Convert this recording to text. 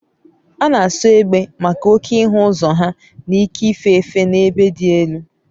A na-asọ egbe maka na oke ịhụ ụzọ ha na ike ife efe n'ebe dị elu